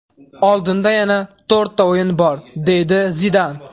Oldinda yana to‘rtta o‘yin bor”, deydi Zidan.